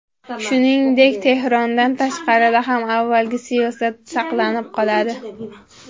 Shuningdek, Tehrondan tashqarida ham avvalgi siyosat saqlanib qoladi.